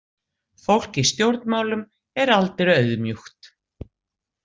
Fólk í stjórnmálum er aldrei auðmjúkt.